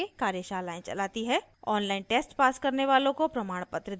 online test pass करने वालों को प्रमाणपत्र देते हैं